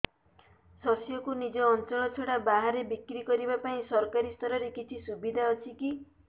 ଶସ୍ୟକୁ ନିଜ ଅଞ୍ଚଳ ଛଡା ବାହାରେ ବିକ୍ରି କରିବା ପାଇଁ ସରକାରୀ ସ୍ତରରେ କିଛି ସୁବିଧା ଅଛି କି